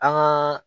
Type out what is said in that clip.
An gaa